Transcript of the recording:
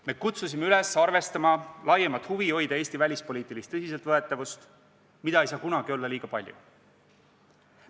Me kutsusime üles arvestama laiemat huvi hoida Eesti välispoliitilist tõsiseltvõetavust, mida ei saa kunagi olla liiga palju.